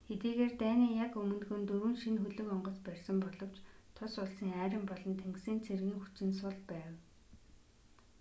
хэдийгээр дайны яг өмнөхөн дөрвөн шинэ хөлөг онгоц барьсан боловч тус улсын арми болон тэнгисийн цэргийн хүчин сул байв